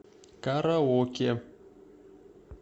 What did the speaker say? караоке